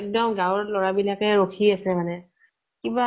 এক্দম গাঁৱৰ লʼৰা বিলাকে ৰখি আছে মানে। কিবা